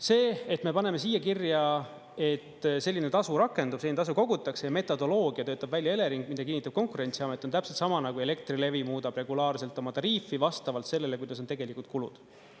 See, et me paneme siia kirja, et selline tasu rakendub, tasu kogutakse ja metodoloogia töötab välja Elering, mida kinnitab Konkurentsiamet, on täpselt sama nagu Elektrilevi muudab regulaarselt oma tariifi, vastavalt sellele, kuidas on tegelikud kulud.